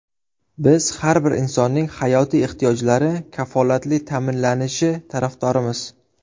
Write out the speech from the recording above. Biz har bir insonning hayotiy ehtiyojlari kafolatli ta’minlanishi tarafdorimiz!